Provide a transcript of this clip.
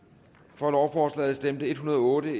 for lovforslaget stemte en hundrede og otte